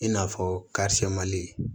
I n'a fɔ